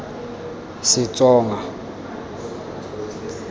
setsonga